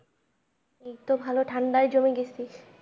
এইতো ভালো ঠান্ডায় জমে গেছি।